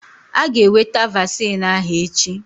Aga eweta vaccine ahụ echi